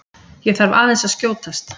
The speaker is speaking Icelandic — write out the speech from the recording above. ÉG ÞARF AÐEINS AÐ SKJÓTAST!